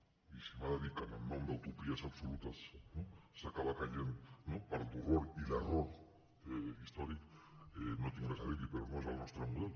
i si m’ha de dir que en nom d’utopies absolutes s’acaba caient en l’horror i l’error històrics no tinc res a dir li però no és el nostre model